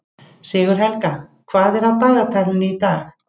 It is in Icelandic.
Sigurhelga, hvað er á dagatalinu í dag?